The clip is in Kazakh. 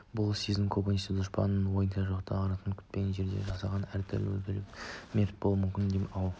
бұл сезім көбінесе дұшпанның ойда жоқта аңдаусызда күтпеген жерден жасаған іс әрекетінен өліп мерт болып кетуім мүмкін-ау деген